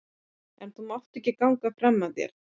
En þú mátt ekki ganga fram af þér